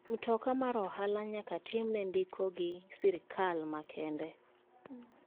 Mtoka mar ohala nyake time ndiko gi sirkal makende.